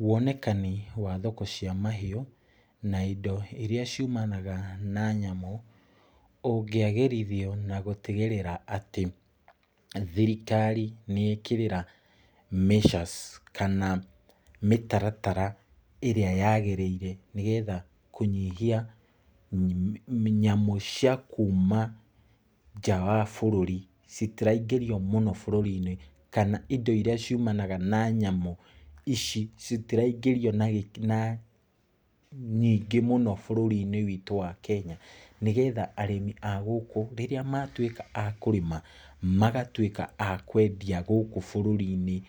Wonekani wa thoko cia mahiũ, na indo iria ciumanaga na nyamũ, ũngĩagĩrithio na gũtigĩrĩra atĩ, thirikari nĩ yekĩrĩra measures kana mĩtaratara ĩrĩa yagĩrĩire nĩgetha kũnyihia nyamũ cia kuuma nja wa bũrũri, citiraingĩrio mũno bũrũri-inĩ, kana indo iria ciũmanaga na nyamũ ici, citiraingĩrio na nyingĩ mũno bũrũri-inĩ witũ wa Kenya. Nĩgetha arĩmi a gũkũ rĩrĩa matuĩka a kũrĩma, magatuĩka a kwendia gũkũ bũrũri-inĩ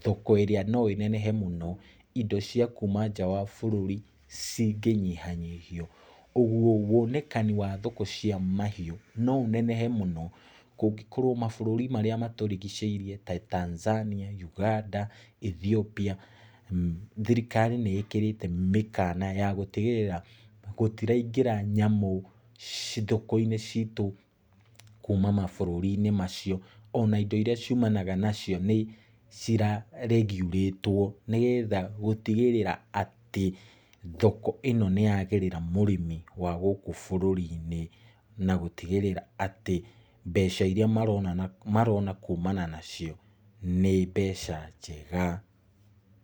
thoko ĩrĩa noĩnehe mũno. Indo cia kuuma nanja wa bũrũri, cingĩnyiha nyihio. Ũguo, wonekani wa thoko cia mahiũ, no ũnenehe mũno, kũngĩkorwo mabũrũri marĩa matũrigicĩirie ta Tanzania, Uganda, Ethiopia, thirikari nĩ ĩkĩrĩte mĩkana ya gũtigĩrĩra gũtiraingĩra nyamũ thoko-inĩ citũ kuuma mabũrũri-inĩ macio. Ona indo iria ciumanaga nacio nĩ ciraregurĩtwo nĩgetha gũtigĩrĩra atĩ, thoko ĩno nĩyagĩrĩra mũrĩmi wa gũkũ bũrũri-inĩ, na gũtigĩrĩra atĩ, mbeca iria marona kuumana nacio nĩ mbeca njega.